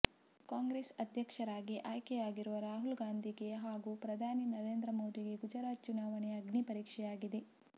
ಕಾಂಗ್ರೆಸ್ ಅಧ್ಯಕ್ಷರಾಗಿ ಆಯ್ಕೆಯಾಗಿರುವ ರಾಹುಲ್ ಗಾಂಧಿಗೆ ಹಾಗೂ ಪ್ರಧಾನಿ ನರೇಂದ್ರ ಮೋದಿಗೆ ಗುಜರಾತ್ ಚುನಾವಣೆ ಅಗ್ನಿಪರೀಕ್ಷೆಯಾಗಿದೆ